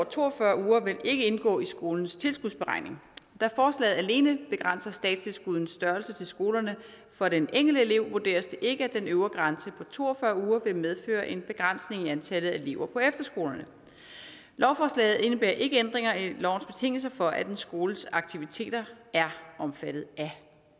to og fyrre uger vil ikke indgå i skolens tilskudsberegning da forslaget alene begrænser statstilskuddets størrelse til skolerne for den enkelte elev vurderes det ikke at den øvre grænse på to og fyrre uger vil medføre en begrænsning i antallet af elever på efterskolerne lovforslaget indebærer ikke ændringer i lovens betingelser for at en skoles aktiviteter er omfattet af